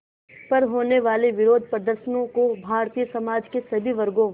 पर होने वाले विरोधप्रदर्शनों को भारतीय समाज के सभी वर्गों